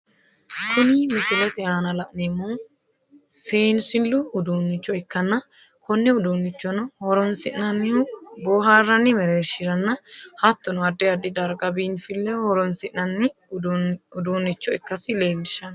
Kunni misilete aanna la'neemohu seensilu uduunicho ikkanna Kone uduunichono horoonsi'nannihu boohaaranni mereershiranna hattono addi addi darga biinfileho horoonsi'nanni uduunicho ikasi leelishano.